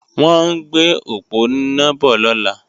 Wọ́n ń gbé òponá bọ̀ lọ́la